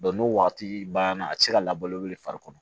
n'o wagati banna a tɛ se ka labalo le fari kɔnɔ